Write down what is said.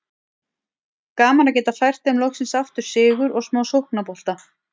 Gaman að geta fært þeim loksins aftur sigur og smá sóknarbolta!